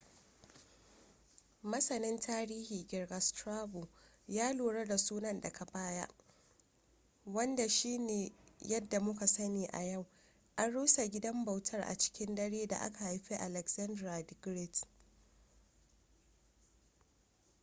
masanin tarihin girka strabo ya lura da sunan daga baya wanda shine yadda muka sani a yau. an rusa gidan bautar a cikin daren da aka haifi alexander the great